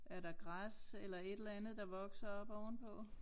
Er der græs eller et eller andet der vokser oppe ovenpå